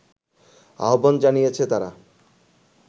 আহবান জানিয়েছে তারা